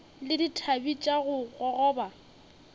le dithabe tša go gogoba